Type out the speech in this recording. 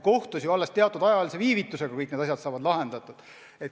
Kohtus saavad ju alles teatud aja pärast kõik asjad lahendatud.